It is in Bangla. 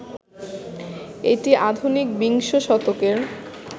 এটি আধুনিক বিংশ শতকের